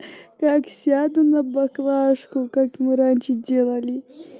как сяду на баклажку как мы раньше делали